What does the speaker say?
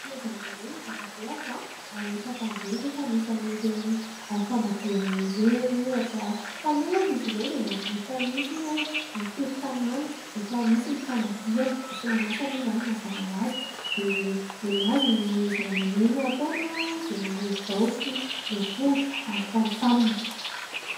Mpanao zavamaneno ny Dadabeako ary mpampandihy rehefa misy an'ireny famadihana ireny ohatra. Taloha ary izy ireo dia nahavita mihitsy ny hoe mitety tanàna rehefa misy ny famadihana ; misy manasa moa izany mazava ho azy dia ny an'azy ny zavamaneno ataony dia angorodao sy ny amponga ary "tamtam".